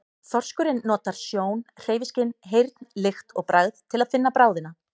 Þorskurinn notar sjón, hreyfiskyn, heyrn, lykt og bragð til að finna bráðina.